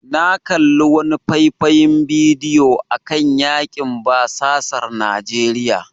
Na kalli wani faifan bidiyo akan yakin basasar Najeriya.